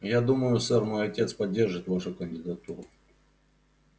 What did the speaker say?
я думаю сэр мой отец поддержит вашу кандидатуру